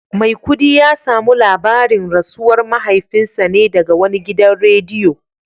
Maikudi ya samu labarin rasuwar mahaifinsa ne daga wani gidan rediyo